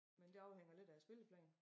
Men det afhænger lidt af æ spilleplan